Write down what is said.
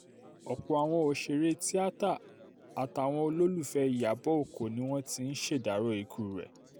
ọ̀pọ̀ àwọn òṣèré tìata àtàwọn olólùfẹ́ ìyàbọ̀ ọkọ ni wọ́n ti ń ṣèdàrọ́ ikú rẹ̀